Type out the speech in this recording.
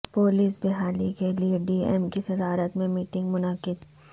پو لس بحالی کیلئے ڈی ایم کی صدارت میں میٹنگ منعقد